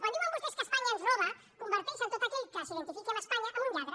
quan diuen vostès que espanya ens roba converteixen tot aquell que s’identifiqui amb espanya en un lladre